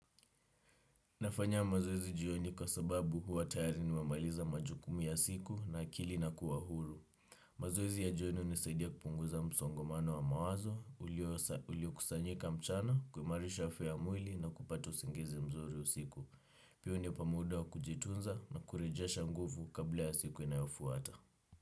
Nafanya mazoezi jioni kwa sababu huwa tayari nimemaliza majukumu ya siku na akili inakuwa huru. Mazoezi ya jioni hunisadia kupunguza msongamano wa mawazo, ulio kusanyika mchana, kuimarisha afya ya mwili na kupata usingizi mzuri usiku. Pia hunipa muda wa kujitunza na kurejasha nguvu kabla ya siku inayofuata.